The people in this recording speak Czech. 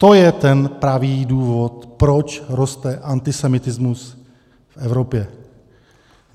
To je ten pravý důvod, proč roste antisemitismus v Evropě.